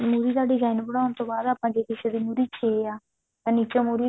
ਮੁਰ੍ਹੀ ਦਾ design ਬਣਾਉਣ ਤੋਂ ਬਾਅਦ ਆਪਾਂ ਜੇ ਕਿਸੇ ਦੀ ਮੁਰ੍ਹੀ ਛੇ ਆ ਤਾਂ ਨੀਚੋਂ ਮੁਰ੍ਹੀ